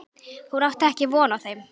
Hún átti ekki von á þeim.